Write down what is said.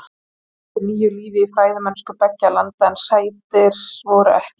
Þetta hleypti nýju lífi í fræðimennsku beggja landa en sættir voru ekki í sjónmáli.